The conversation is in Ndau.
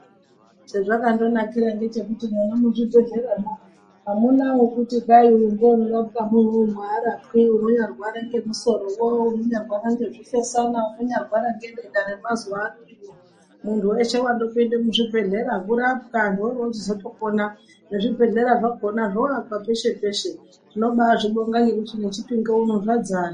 Chezvakandonakira ngechekuti mwona muzvibhedhlera mwo amuna wekuti uyu ngeunorapwi munomu uyu arapwi unonyarwara ngemusoro woo unonyarwara ngezvifesana unondanyarwara ngedenda remazuwano iro muntu weshe wanyandopinda muzvibhedhlera kurapwa vantu vorovozotopona nezvebhedhlera zvakhona zvoakwa peshe peshe tinobazvibonga ngekuti neChipinge uno zvadzara.